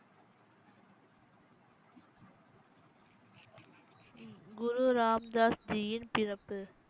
குரு ராம்தாஸ்ஜியின் பிறப்பு